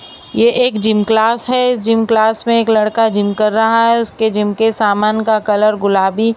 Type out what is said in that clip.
यह एक gym class है जिम क्लास में एक लड़का जिम कर रहा है उसके जिम के समान का कलर गुलाबी--